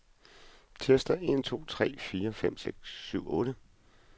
Tester en to tre fire fem seks syv otte.